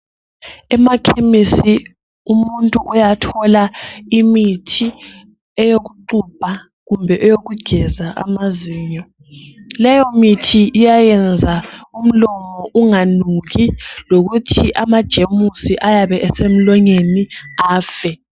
Emakhemisi umuntu uyathola imithi eyokuxubha kumbe eyokugeza amazinyo leyo mithi iyayenza umlomo unganuki lokuthi ama gems ayabe esemlonyeni afe.